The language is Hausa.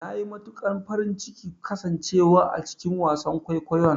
Nayi matukar farin cikin kasan cewa a cikin wasan kwaikwayon.